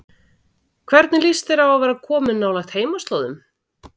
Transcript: Hvernig líst þér á að vera komin nálægt heimaslóðum?